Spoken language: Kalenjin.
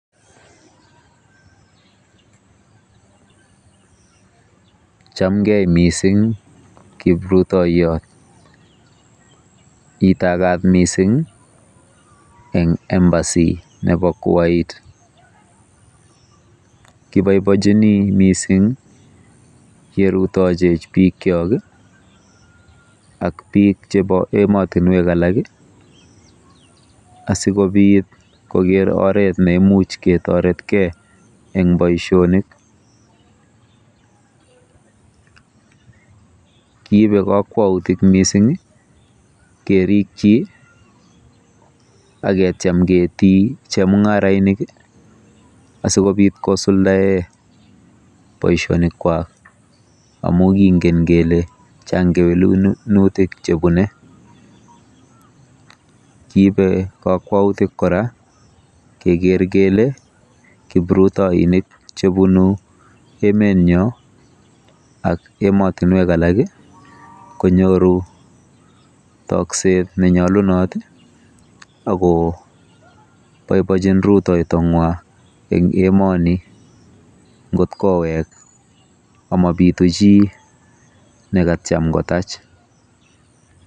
Chamgei mising kiprutoiyot. Itakat mising eng Embassy nebo Kuwait. Kiboibochini mising yerutachech bikyok ak bik chebo emotinwek alak asikobit keker oret neimuch ketoretkei eng boisionik. Kiibe kakwautik mising kerikyi aketiam ketii chemung'arainik asikobit kosuldae boisionikwa amu kingen kele chang kewelutik chebune. Kiibe kakwautik kora keker kele kiprutoinik chebunu emetnyo ak emotinwek alak konyoru tokset nenyolunot akoboibochin rutoitong'wa eng emoni ngot kowek amabitu chi nekatyam kotach.